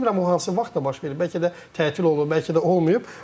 İndi bilmirəm o hansı vaxtda baş verib, bəlkə də tətil olub, bəlkə də olmayıb.